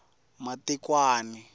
matikwani